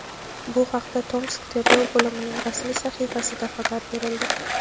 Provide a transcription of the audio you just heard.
Bu haqda Tomsk tergov bo‘limining rasmiy sahifasida xabar berildi.